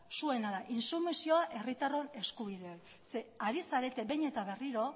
zuena da intsumisioa herritarron eskubidea da zeren eta ari zarete behin eta berriro